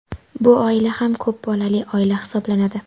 bu oila ham ko‘p bolali oila hisoblanadi.